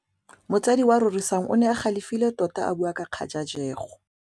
Motsadi wa Rorisang o ne a galefile tota a bua ka kgajajegô.